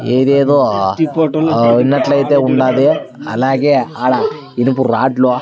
ఇదేదో విన్నట్లయితే ఉన్నాది అలాగే ఆడ ఇనుప రాడ్లు .